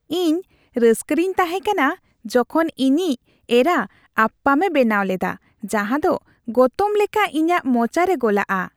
ᱤᱧ ᱨᱟᱹᱥᱠᱟᱹᱨᱤᱧ ᱛᱟᱦᱮᱸ ᱠᱟᱱᱟ ᱡᱚᱠᱷᱚᱱ ᱤᱧᱤᱡ ᱮᱨᱟ ᱟᱯᱯᱟᱢ ᱮ ᱵᱮᱱᱟᱣ ᱞᱮᱫᱟ ᱡᱟᱦᱟᱸᱫᱚ ᱜᱚᱛᱚᱢ ᱞᱮᱠᱟ ᱤᱧᱟᱹᱜ ᱢᱚᱪᱟ ᱨᱮ ᱜᱚᱞᱟᱜᱼᱟ ᱾